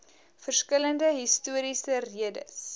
verskillende historiese redes